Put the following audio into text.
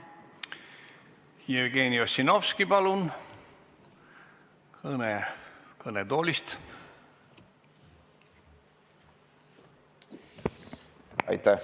Jevgeni Ossinovski, palun, kõne kõnetoolist!